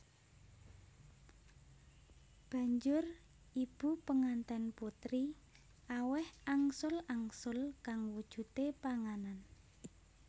Banjur ibu penganten putri aweh angsul angsul kang wujude panganan